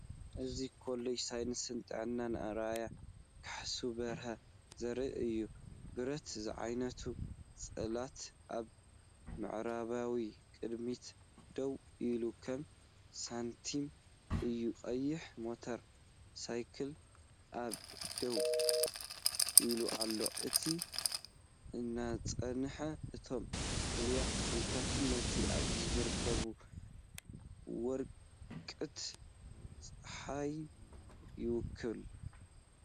እዚ ኮሌጅ ሳይንስ ጥዕና ኣርኣያ ካሕሱ በሪ ዘርኢ እዩ። ብረት ዝዓይነቱ ጽላት ኣብ ምዕራባዊ ቅድሚት ደው ኢሉ ከም ሳንቲም እዩ። ቀያሕ ሞተር ሳይክል ኣብ ደው ኢላ ኣላ። እቲ ህንጻን እቶም ፍሉያት ተኽልታትን ነቲ ኣብዚ ዝርከብ ወቕቲ ጸሓይ ይውክሉ።